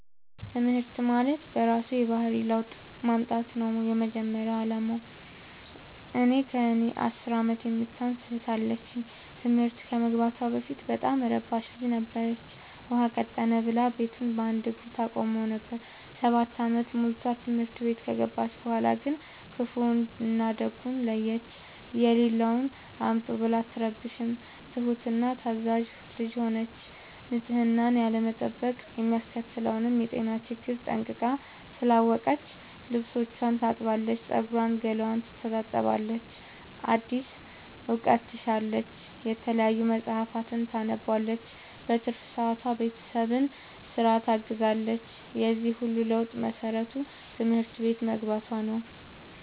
ትምህርት ማለት በእራሱ የባህሪ ለውጥ ማምጣት ነው የመጀመሪያ አላማው። እኔ ከእኔ አስር አመት የምታንስ እህት አለችኝ ትምህርት ከመግባቷ በፊት በጣም እረባሽ ልጅ ነበረች። ውሃ ቀጠነ ብላ ቤቱን በአንድ እግሩ ታቆመው ነበር። ሰባት አመት ሞልቶት ትምህርት ቤት ከገባች በኋላ ግን ክፋውን እና ደጉን ለየች። የሌለውን አምጡ ብላ አትረብሽም ትሁት እና ታዛዣ ልጅ ሆነች ንፅህናን ያለመጠበቅ የሚያስከትለውን የጤና ችግር ጠንቅቃ ስላወቀች ልብስቿን ታጥባለች ፀጉሯን ገላዋን ትታጠባለች አዲስ እውቀት ትሻለች የተለያዩ መፀሀፍትን ታነባለች በትርፍ ሰዓቷ ቤተሰብን ስራ ታግዛለች የዚህ ሁሉ ለውጥ መሰረቱ ትምህርት ቤት መግባቶ ነው።